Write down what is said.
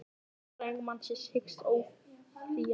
Lögfræðingur mannsins hyggst áfrýja dómnum